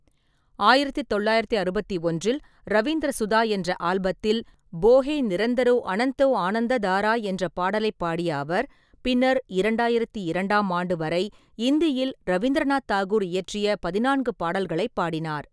ஆயிரத்தி தொள்ளாயிரத்தி அறுபத்தி ஒன்றில் ரவீந்திர சுதா என்ற ஆல்பத்தில் "போஹே நிரந்தரோ அனந்தோ ஆனந்ததாரா" என்ற பாடலைப் பாடிய அவர், பின்னர் இரண்டாயிரத்தி இரண்டாம் ஆண்டு வரை இந்தியில் ரவீந்திரநாத் தாகூர் இயற்றிய பதினான்கு பாடல்களைப் பாடினார்.